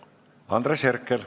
Andres Herkel.